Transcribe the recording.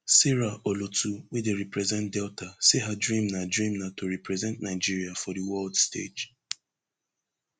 sarah olotu wey dey represent delta say her dream na dream na to represent nigeria for di world stage